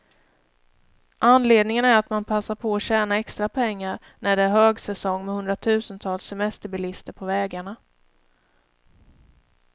Anledningen är att man passar på att tjäna extra pengar, när det är högsäsong med hundratusentals semesterbilister på vägarna.